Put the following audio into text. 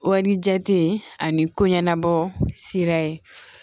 Wari jate ani ko ɲɛnabɔ sira ye